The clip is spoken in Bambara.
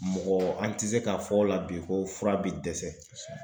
Mɔgɔ an tɛ se k'a fɔ o la bi ko fura bɛ dɛsɛ.